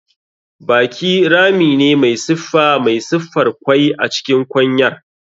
Baki rami ne mai siffa mai siffar kwai a cikin kwanyar.